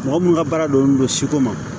Mɔgɔ mun ka baara dɔn siko ma